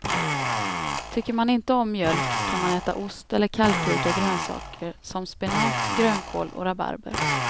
Tycker man inte om mjölk kan man äta ost eller kalkrika grönsaker som spenat, grönkål och rabarber.